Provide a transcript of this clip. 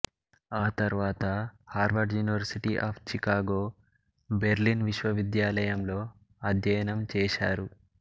ఆతర్వాత Harvard university of Chicago Berlin విశ్వవిద్యాలయంలో అధ్యయనం చేశారు